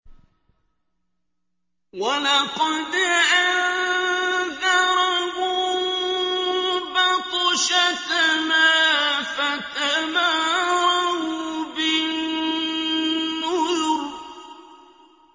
وَلَقَدْ أَنذَرَهُم بَطْشَتَنَا فَتَمَارَوْا بِالنُّذُرِ